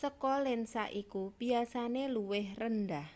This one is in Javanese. saka lensa iku biasane luwih rendah